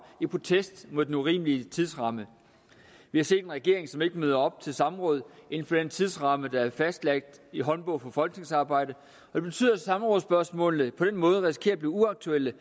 i protest mod den urimelige tidsramme vi har set en regering som ikke møder op til samråd inden for den tidsramme der er fastlagt i håndbog i folketingsarbejdet og det betyder at samrådsspørgsmålene på den måde risikerer at blive uaktuelle